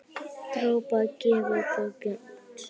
Drápa gefur bókina út.